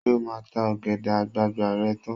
Ṣé o máa ta ọ̀gẹ̀dẹ̀ àgbààgbà rẹ tán?